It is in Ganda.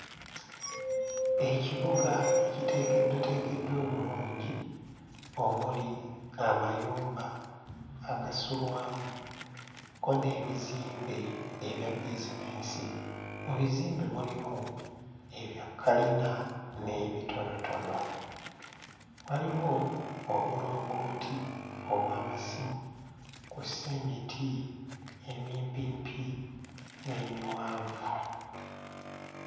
Ekibuga ekiteekeddwateekeddwa obulungi omuli amayumba agasulwamu, kko n'ebizimbe ebya bizineesi, mu bizimbe mulimu ebya kkalina n'ebitonotono, waliwo obulongooti obw'amasimu kw'ossa emiti emimpimpi n'emiwanvu.